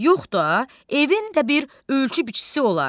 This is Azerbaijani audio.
Yox da, evin də bir ölçü biçisi olar.